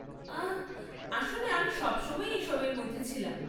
আহ, আসলে আমি সবসময়ই এসবের মধ্যে ছিলাম।